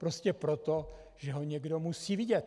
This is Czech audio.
Prostě proto, že ho někdo musí vidět.